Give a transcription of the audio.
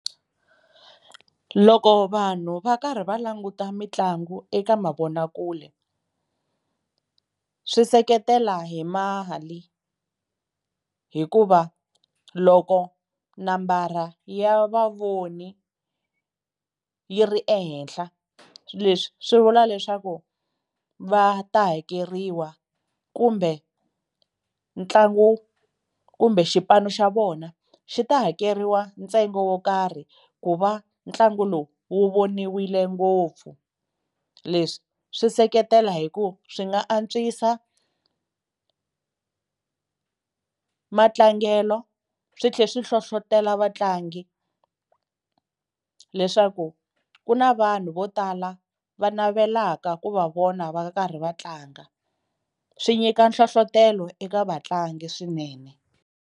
Loko vanhu va karhi va languta mitlangu eka mavonakule swi seketela hi mali hikuva loko nambara ya vavoni yi ri ehenhla leswi swi vula leswaku va ta hakeriwa kumbe ntlangu kumbe xipano xa vona xi ta hakeriwa ntsengo wo karhi ku va ntlangu lowu wu voniwile ngopfu, leswi swi seketela hi ku swi nga antswisa matlangelo swi tlhe swi hlohlotelo vatlangi leswaku ku na vanhu vo tala va navelaka ku va vona va karhi va tlanga, swi nyika nhlohlotelo eka vatlangi swinene.